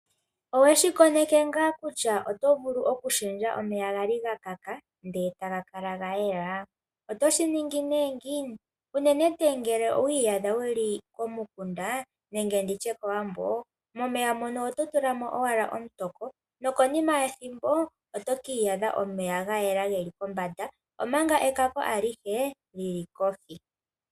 Owe shi koneke ngaa kutya oto vulu okushendja omeya ga li ga kaka ndele taga kala ga yela? Oto shi ningi nduno ngiini? Unene tuu ngele owi iyadha wu li komukunda nenge kOwambo momeya mono oto tula mo owala omutoko, konima yethimbo oto ka adha omeya ga yela ge li kombanda,, omanga ekako alihe li li kohi.